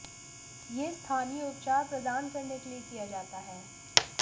यह स्थानीय उपचार प्रदान करने के लिए किया जाता है